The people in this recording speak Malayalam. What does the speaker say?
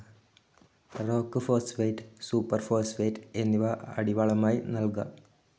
റോക്ക്‌ ഫോസ്ഫേറ്റ്, സൂപ്പർ ഫോസ്ഫേറ്റ്‌ എന്നിവ അടിവളമായി നൽകാം.